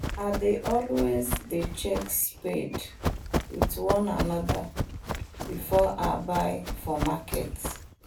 i dey always dey check spade with one another before i buy for market